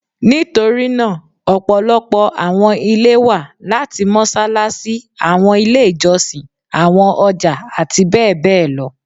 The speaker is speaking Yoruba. Nitorinaa ọpọlọpọ awọn ile wa lati Mossalassi, awọn ile ijọsin, awọn ọja ati bẹbẹ lọ